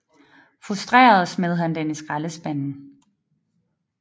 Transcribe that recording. Frustreret smed han den i skraldespanden